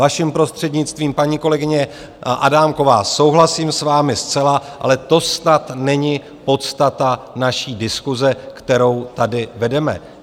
Vaším prostřednictvím, paní kolegyně Adámková, souhlasím s vámi zcela, ale to snad není podstata naší diskuse, kterou tady vedeme.